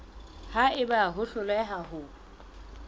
ha eba o hloleha ho